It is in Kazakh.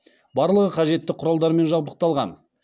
барлығы қажетті құралдармен жабдықталған